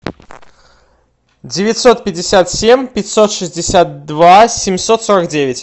девятьсот пятьдесят семь пятьсот шестьдесят два семьсот сорок девять